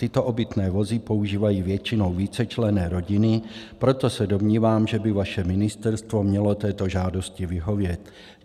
Tyto obytné vozy používají většinou vícečlenné rodiny, proto se domnívám, že by vaše ministerstvo mělo této žádosti vyhovět.